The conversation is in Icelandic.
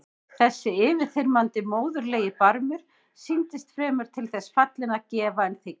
Þessi yfirþyrmandi móðurlegi barmur sýndist fremur til þess fallinn að gefa en þiggja.